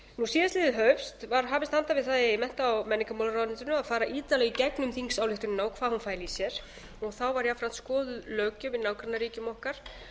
síðastliðið haust var hafist handa um það í mennta og menningarmálaráðuneytinu að fara ítarlega í gegnum þingsályktunina og hvað hún fæli í sér og þá var jafnframt skoðuð löggjöf í nágrannaríkjum okkar